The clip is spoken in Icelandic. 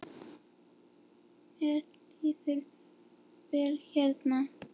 Mér líður vel hérna.